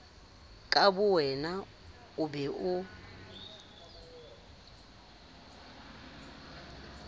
ka bowena o be o